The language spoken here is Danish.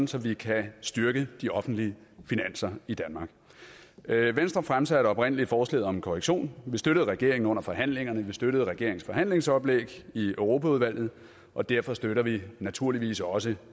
så vi kan styrke de offentlige finanser i danmark venstre fremsatte oprindelig forslaget om en korrektion vi støttede regeringen under forhandlingerne vi støttede regeringens forhandlingsoplæg i europaudvalget og derfor støtter vi naturligvis også